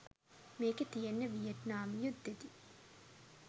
මේකෙ තියෙන්නේ වියට්නාම යුද්ධයෙදි